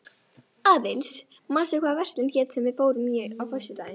Aðils, manstu hvað verslunin hét sem við fórum í á föstudaginn?